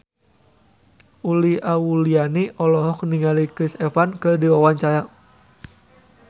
Uli Auliani olohok ningali Chris Evans keur diwawancara